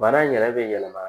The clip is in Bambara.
Bana in yɛrɛ be yɛlɛma